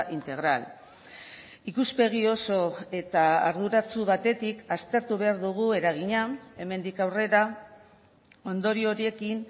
integral ikuspegi oso eta arduratsu batetik aztertu behar dugu eragina hemendik aurrera ondorio horiekin